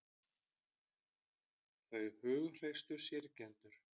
Þau hughreystu syrgjendur